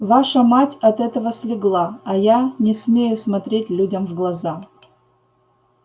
ваша мать от этого слегла а я не смею смотреть людям в глаза